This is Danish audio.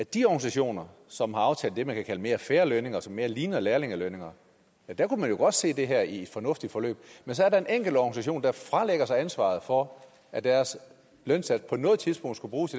de organisationer som har aftalt det man kan kalde mere fair lønninger som mere ligner lærlingelønninger kunne man jo godt se det her i et fornuftigt forløb men så er der en enkelt organisation der fralægger sig ansvaret for at deres lønsats på noget tidspunkt skulle bruges